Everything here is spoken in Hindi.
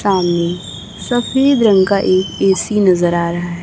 सामने सफेद रंग का एक ए_सी नजर आ रहा हैं।